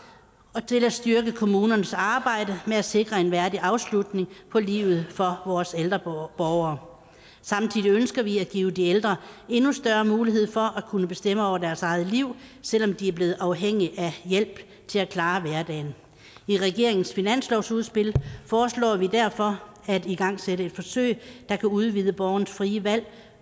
og til at styrke kommunernes arbejde med at sikre en værdig afslutning på livet for vores ældre borgere samtidig ønsker vi at give de ældre endnu større mulighed for at kunne bestemme over deres eget liv selv om de er blevet afhængige af hjælp til at klare hverdagen i regeringens finanslovsudspil foreslår vi derfor at igangsætte et forsøg der kan udvide borgernes frie valg